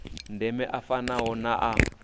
ndeme a fanaho na a